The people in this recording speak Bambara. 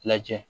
Lajɛ